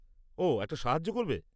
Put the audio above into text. ওহ, এটা সাহায্য করবে।